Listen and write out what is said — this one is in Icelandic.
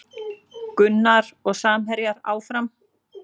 Gunnar og samherjar áfram